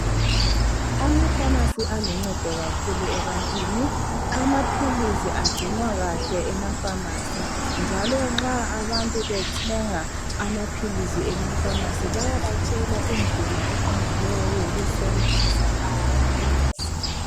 Amapharmacy aluncedo kakhulu ebantwini , amaphilizi agcinwa kahle emapharmacy njalo nxa abantu bethwnga amaphilizi emapharmacy bayabatshela indlela eqondileyo yokusebenzisa lawo maphilizi